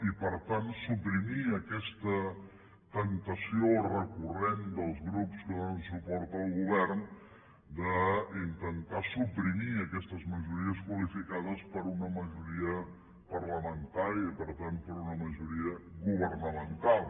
i per tant suprimir aquesta temptació recurrent dels grups que donen suport al govern d’intentar suprimir aquestes majories qualificades per una majoria parlamentària i per tant per una majoria governamental